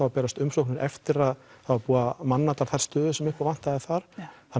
að berast umsóknir eftir að það var búið að manna þær stöður sem upp á vantaði þar